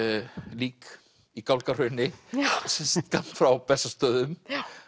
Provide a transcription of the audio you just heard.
lík í Gálgahrauni skammt frá Bessastöðum